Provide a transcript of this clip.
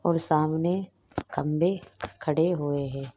और सामने खंभे खड़े हुए है।